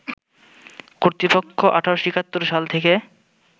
কর্তৃপক্ষ ১৮৭১ সাল থেকে